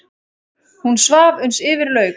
Hún svaf uns yfir lauk.